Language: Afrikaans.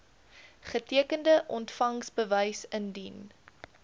getekende ontvangsbewys indien